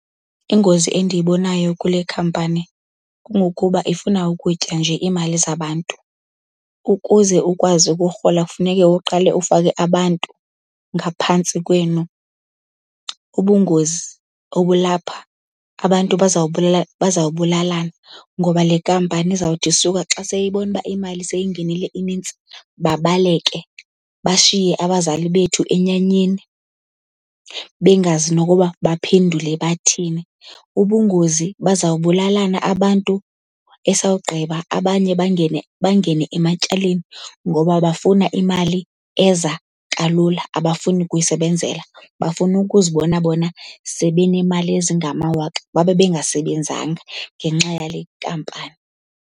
Ingozi endiyibonayo kule khampani kungokuba ifuna ukutya nje iimali zabantu. Ukuze ukwazi ukurhola kufuneke uqale ufake abantu ngaphantsi kwenu. Ubungozi obulapha abantu bazawubulalana ngoba le nkampani izawuthi isuka xa seyibona uba imali seyingenile inintsi babaleke, bashiye abazali bethu enyanyeni bengazi nokuba baphendule bathini. Ubungozi bazawubulalana abantu, esawugqiba abanye bangene bangene ematyaleni ngoba bafuna imali eza kalula, abafuni kuyisebenzela. Bafuna ukuzibona bona sebenemali ezingamawaka babe bengasebenzanga ngenxa yale nkampani.